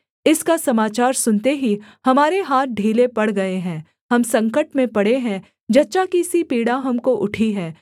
इसका समाचार सुनते ही हमारे हाथ ढीले पड़ गए हैं हम संकट में पड़े हैं जच्चा की सी पीड़ा हमको उठी है